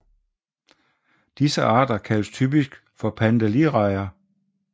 Disse arter kaldes typisk for pandalidrejer